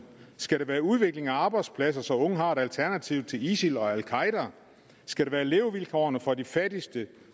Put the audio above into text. skal det være udvikling af arbejdspladser så unge har et alternativ til isil og al qaeda skal det være levevilkårene for de fattigste